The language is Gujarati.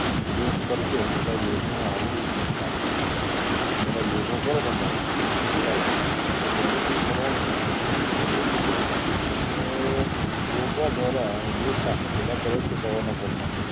યોગ કરશે એ બધા યોગ આવડવું જોઈએ પાછું બધા યોગો કરો તમે તો શું થાય કે benefit મળવા નું જ છે એટલે કેવી રીતે કે યોગા દ્વારા યોગા સાસણ બધા કરે જ છે સવાર ના પોર માં